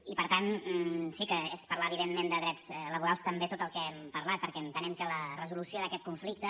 i per tant sí que és parlar evidentment de drets laborals també tot el que hem parlat perquè entenem que la resolució d’aquest conflicte